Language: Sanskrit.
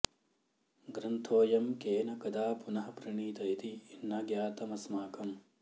ग्रन्थोऽयं केन कदा पुनः प्रणीत इति न ज्ञातमस्माकम्